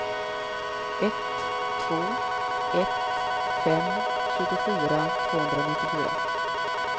ett två ett fem tjugofyra tvåhundranittiofyra